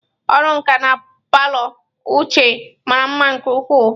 Ọrụ nka na palọ Uche mara mma nke ukwuu.